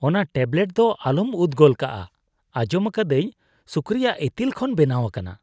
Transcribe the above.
ᱚᱱᱟ ᱴᱮᱵᱞᱮᱴ ᱫᱚ ᱟᱞᱚᱢ ᱩᱫxᱜᱚᱞ ᱠᱟᱜᱼᱟ ᱾ ᱟᱸᱡᱚᱢ ᱟᱠᱟᱫᱟᱹᱧ ᱥᱩᱠᱨᱤ-ᱟᱜ ᱤᱛᱤᱞ ᱠᱷᱚᱱ ᱵᱮᱱᱟᱣ ᱟᱠᱟᱱᱟ ᱾